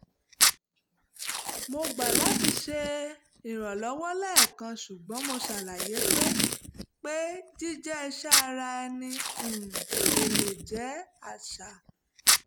mo gbà láti ṣe ìrànlọ́wọ́ lẹ́ẹ̀kan ṣùgbọ́n mo ṣàlàyé pé pé jíjẹ́ iṣẹ́ ara ẹni um kò lè jẹ́ àṣà